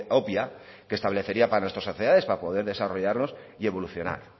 obvia que establecería para nuestras sociedades para poder desarrollarnos y evolucionar